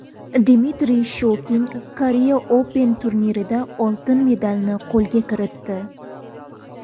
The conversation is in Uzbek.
Dmitriy Shokin Korea Open turnirida oltin medalni qo‘lga kiritdi.